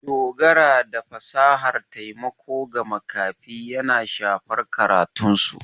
Dogaro da fasahar taimako ga makafi yana shafar karatunsu.